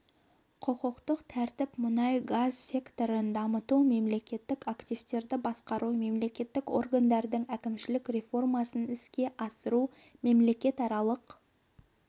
құқықтық тәртіп мұнай-газ секторын дамыту мемлекеттік активтерді басқару мемлекеттік органдардың әкімшілік реформасын іске асыру мемлекетаралық